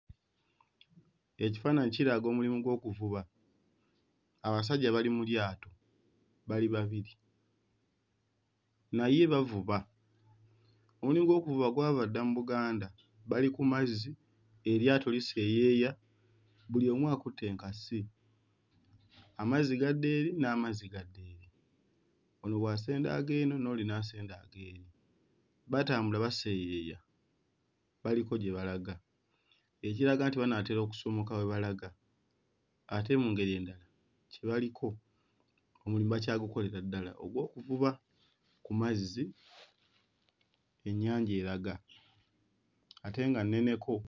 Ekifaananyi kiraga omulimu gw'okuvuba. Abasajja bali mu lyato, bali babiri naye bavuba. Omulimu gw'okuvuba gwava dda mu Buganda, bali ku mazzi eryato liseeyeeya buli omu akutte enkasi amazzi gadda eri n'amazzi gadda eno, ono bw'asenda ag'eno n'oli n'asenda ag'eri. Batambula baseeyeeya baliko gye balaga ekiraga nti banaatera okusomoka we balaga ate mu ngeri endala kye baliko omulimu bakyagukolera ddala ogw'okuvuba ku mazzi, ennyanja eraga ate nga nneneko.